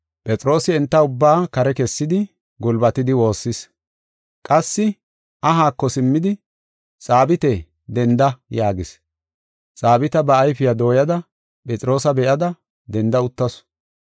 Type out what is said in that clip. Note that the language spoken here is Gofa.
Phexroosi enta ubbaa kare kessidi, gulbatidi woossis. Qassi ahaako simmidi, “Xaabite, denda” yaagis. Xaabita ba ayfiya dooyada Phexroosa be7ada, denda uttasu.